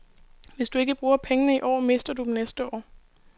Hvis du ikke bruger pengene i år, mister du dem næste år.